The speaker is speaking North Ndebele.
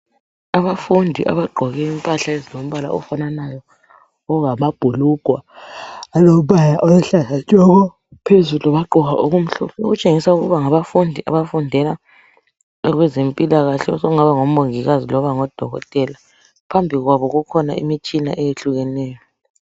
Abafundi abagqoke impahla ezilombala ofananayo okungamabhulugwe alombala oluhlaza tshoko phezulu bagqoka okumhlophe okutshengisela ukuba ngabafundi abafundela okwezempilakahle okungaba ngomongikazi loba ngodokotela. Phambi kwabo kukhona imitshina eyehlukeneyo.